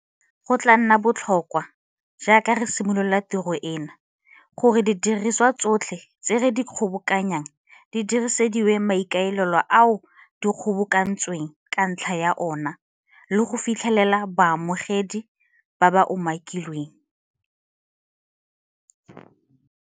Go tla nna botlhokwa, jaaka re simolola tiro eno, gore didiriswa tsotlhe tse re di kgobokanyang di diresediwa maikaelelo ao di kgobokantsweng ka ntlha ya ona le go fitlhelela baamogedi ba ba umakilweng.